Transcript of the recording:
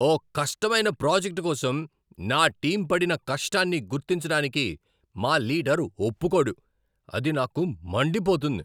ఓ కష్టమైన ప్రాజెక్ట్ కోసం నా టీమ్ పడిన కష్టాన్ని గుర్తించడానికి మా లీడర్ ఒప్పుకోడు, అది నాకు మండిపోతుంది.